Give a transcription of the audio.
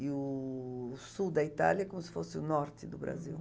E o sul da Itália é como se fosse o norte do Brasil. Uhum.